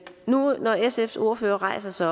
når nu sfs ordfører rejser sig